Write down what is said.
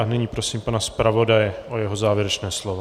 A nyní prosím pana zpravodaje o jeho závěrečné slovo.